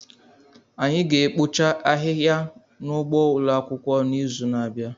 Anyị ga-ekpocha ahịhịa n'ugbo ụlọ akwụkwọ n'izu na-abịa